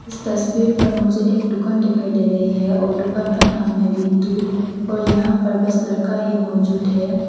इस तस्वीर पर मुझे एक दुकान दिखाई दे रही है और दुकान का नाम है वी टू और यहां पर बस लड़का ही मौजूद है।